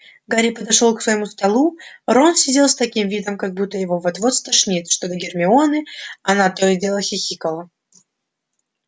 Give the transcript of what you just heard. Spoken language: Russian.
гарри подошёл к своему столу рон сидел с таким видом как будто его вот-вот стошнит что до гермионы она то и дело хихикала